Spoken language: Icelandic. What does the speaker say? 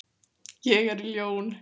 Ég er ljón.